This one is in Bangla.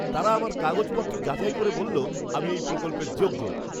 তারা আমার কাগজপত্র যাচাই করে বলল আমি এই প্রকল্পের যোগ্য।